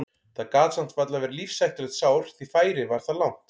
Það gat samt varla verið lífshættulegt sár því færið var það langt.